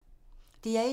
DR1